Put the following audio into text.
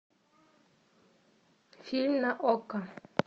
фильм на окко